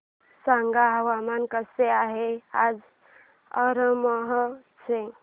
सांगा हवामान कसे आहे आज अमरोहा चे